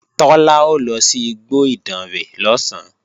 Tọ́lá ó lọ sí igbó Ìdànrè lọ̀sán